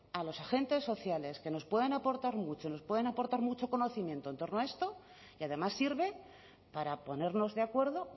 a los agentes sociales que nos pueden aportar mucho nos pueden aportar mucho conocimiento en torno a esto y además sirve para ponernos de acuerdo o